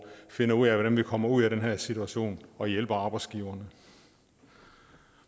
finde ud af hvordan vi kommer ud af den her situation og hjælper arbejdsgiveren